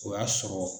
O y'a sɔrɔ